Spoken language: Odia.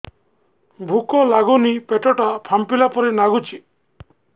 ଭୁକ ଲାଗୁନି ପେଟ ଟା ଫାମ୍ପିଲା ପରି ନାଗୁଚି